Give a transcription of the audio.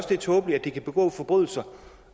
det er tåbeligt at de kan begå forbrydelser